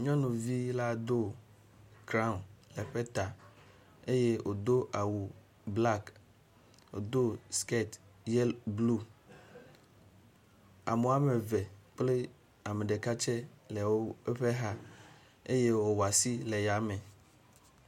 Nyɔnuvi la do “crown” ɖe ƒe ta eye wòdo awu “black”, wòdo “skirt yellow, blue”. Ame woame ve kple ame ɖeka tsɛ le eƒe xa eye wòwɔ asi le ya me.